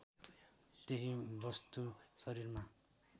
त्यही वस्तु शरीरमा